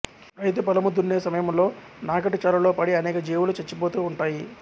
రైతు పొలము దున్నే సమయంలో నాగటిచాలులో పడి అనేక జీవులు చచ్చిపోతుంటాయి